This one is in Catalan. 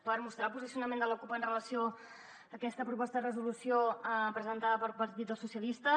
per mostrar el posicionament de la cup amb relació a aquesta proposta de resolució presentada pel partit dels socialistes